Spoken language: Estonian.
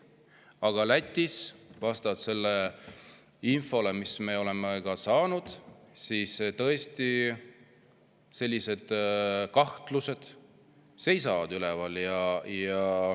Aga Lätis, vastavalt sellele infole, mis me oleme saanud, tõesti sellised kahtlused seisavad üleval.